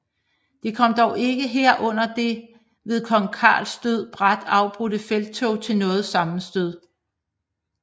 Det kom dog ikke her under det ved kong Carls død brat afbrudte felttog til noget sammenstød